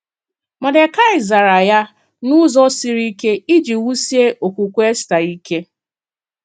Mọ́dekaị zàrà ya n’ụzọ siri ike iji wusié okwukwe Èstà ike.